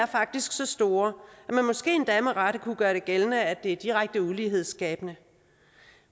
faktisk så store at man måske endda med rette kunne gøre det gældende at det er direkte ulighedsskabende